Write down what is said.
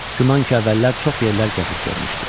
Güman ki, əvvəllər çox yerlər gəzib görmüşdü.